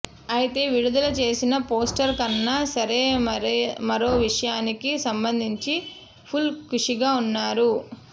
అయితే విడుదల చేసిన పోస్టర్ కన్నా సరే మరో విషయానికి సంబంధించి ఫుల్ ఖుషిగా ఉన్నారు